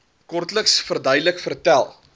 kortliks verduidelik vertel